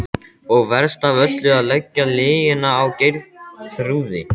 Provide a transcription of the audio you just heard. Og verst af öllu að leggja lygina á Geirþrúði.